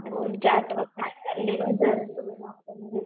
तुमची आठवण